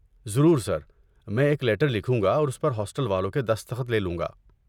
ضرور سر، میں ایک لیٹر لکھوں گا اور اس پر ہاسٹل والوں کے دستخط لے لوں گا۔